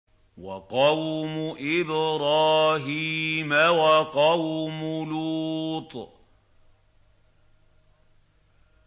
وَقَوْمُ إِبْرَاهِيمَ وَقَوْمُ لُوطٍ